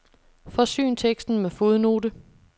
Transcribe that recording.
Forsyn teksten med fodnote.